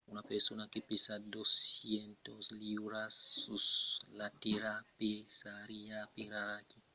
una persona que pesa 200 liuras 90kg sus la tèrra pesariá aperaquí 36 liuras 16kg sus io. alara la gravetat plan segur tira mens sus tu